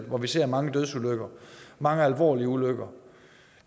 hvor vi ser mange dødsulykker mange alvorlige ulykker og